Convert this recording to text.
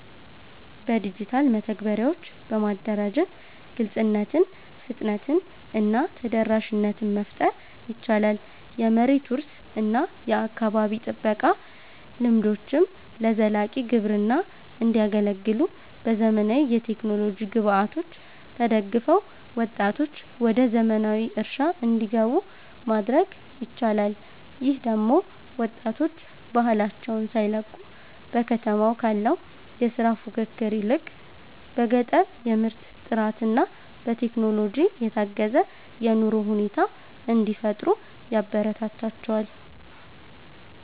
በዲጂታል መተግበሪያዎች በማደራጀት ግልጽነትን፣ ፍጥነትን እና ተደራሽነትን መፍጠር ይቻላል። የመሬት ውርስ እና የአካባቢ ጥበቃ ልምዶችም ለዘላቂ ግብርና እንዲያገለግሉ፣ በዘመናዊ የቴክኖሎጂ ግብዓቶች ተደግፈው ወጣቶች ወደ ዘመናዊ እርሻ እንዲገቡ ማድረግ ይቻላል። ይህ ደግሞ ወጣቶች ባህላቸውን ሳይለቁ፣ በከተማ ካለው የሥራ ፉክክር ይልቅ በገጠር የምርት ጥራትና በቴክኖሎጂ የታገዘ የኑሮ ሁኔታ እንዲፈጥሩ ያበረታታቸዋል